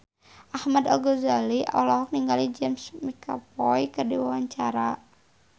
Ahmad Al-Ghazali olohok ningali James McAvoy keur diwawancara